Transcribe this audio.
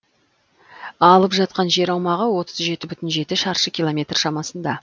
алып жатқан жер аумағы отыз жеті бүтін жеті шаршы километр шамасында